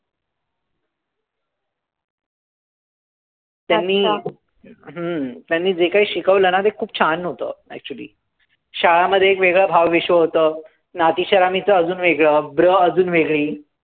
त्यांनी हम्म त्यांनी जे काही शिकवलं ना ते खूप छान होतं, actually. शाळामध्ये एक वेगळं भावविश्व होतं. नाती चरामिचं अजून वेगळं, ब्र अजून वेगळी.